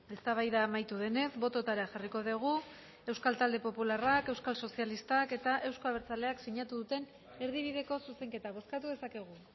eztabaida amaitu denez bototara jarriko dugu euskal talde popularrak euskal sozialistak eta euzko abertzaleak sinatu duten erdibideko zuzenketa bozkatu dezakegu